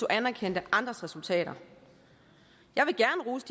anerkendte andres resultater jeg vil gerne rose